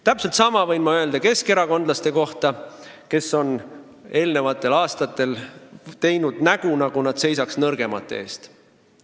Täpselt sama võin ma öelda keskerakondlaste kohta, kes on varasematel aastatel teinud nägu, nagu nad seisaksid nõrgemate eest.